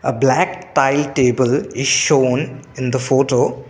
A black tile table is shown in the photo.